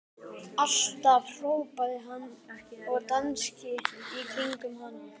Alltaf! hrópaði hann og dansaði í kringum hana.